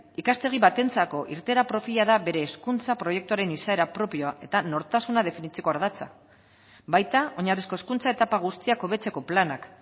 ikastegi batentzako irteera profila da bere hezkuntza proiektuaren izaera propioa eta nortasuna definitzeko ardatza baita oinarrizko hezkuntza etapa guztiak hobetzeko planak